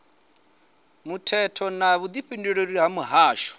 muthetho na vhudifhinduleli ha mihasho